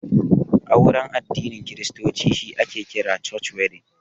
Auren addinin kiristoci shi ake kira 'Church wedding'